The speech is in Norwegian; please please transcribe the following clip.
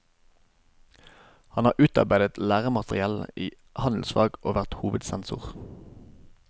Han har utarbeidet læremateriell i handelsfag og vært hovedsensor.